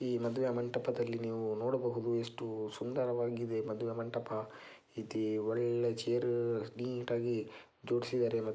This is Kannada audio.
ಈ ಮದುವೆ ಮಂಟಪದಲ್ಲಿ ನೀವು ನೋಡಬಹುದು ಎಷ್ಟು ಸುಂದರವಾಗಿದೆ ಈ ಮದುವೆ ಮಂಟಪ ಇದು ಒಳ್ಳೆ ಚೇರ್ ನೀಟಾಗಿ ಜೋಡಿಸಿದ್ದಾರೆ.